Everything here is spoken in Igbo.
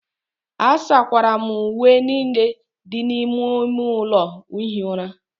asakwara m uwe niile dị n'ime ime ụlọ ihi ụra